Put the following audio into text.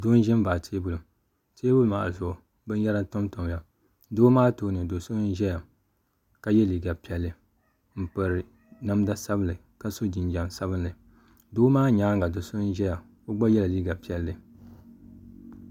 Doo n ʒɛ n baɣi teebuli teebuli maa zuɣu bin yara n tam tam ya doo maa tooni do so n ʒiya kayɛ liga piɛli n piri namda sabinli jinjam sabinli doo maa nyaan ga do so n zaya o gba yɛla liga piɛli